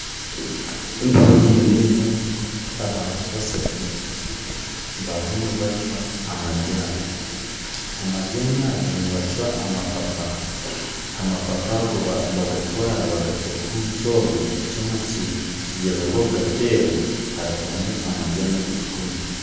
Ndiho nindeeba abantu bashatu barimu nibacwa amajaani, amajaani aga nibacwa amapapa, amapapa aga bagatwara bagata omu kyoma kigyezaho kugateera harugamu amajaani agu turikunywa